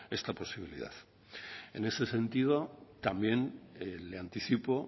esta posibilidad en este sentido también le anticipo